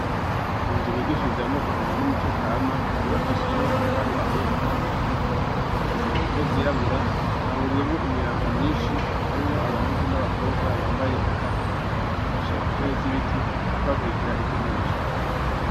Mu nzu bigishirizamo inkino n'imico kama yubakishije n'amatafari ahiye kuva hasi gushika hejuru ikise impume zirabura Hahuriyemwo imiyabaga myinshi arimwo abahungu n'abakobwa bambaye ugutandukanyi bichaye ku ntebe z'ibiti ariko hakurikira ivy'umwigisha avuga.